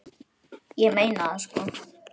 Ég meina það sko.